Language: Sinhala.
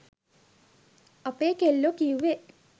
අපේ කෙල්ලෝ කිව්වේ